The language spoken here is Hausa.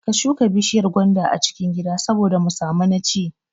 Ka shuka bishiyar gwanda a cikin gida saboda mu samu na ci